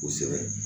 Kosɛbɛ